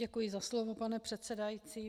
Děkuji za slovo, pane předsedající.